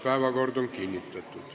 Päevakord on kinnitatud.